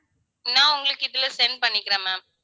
நான் உங்களுக்கு இதுல send பண்ணிக்கிறேன் ma'am